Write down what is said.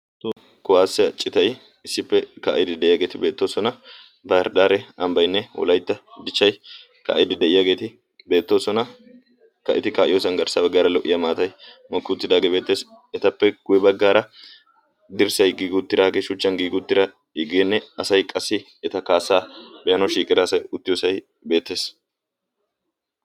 Toho kuwaassiya citay issippe kaa'idi de'iyaageeti beettoosona. Bahireddaare ambbaynne wolaytta dichchay ka'idi de'iyaageeti beettoosona. Ha eti ka'idi de'iyoosan garssaa baggaara lo'iya maatay mookki uttidaagee beettees. Etappe guye baggaara dirssay giigi uttidage shuchchan giigi uttida geenne asay qassi eta kaassaa be'anayo shiiqida asay uttiyoosay beettees.